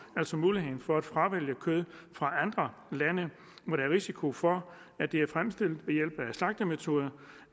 altså mulighed for at fravælge kød fra andre lande hvor der er risiko for at det er fremstillet ved hjælp af slagtemetoder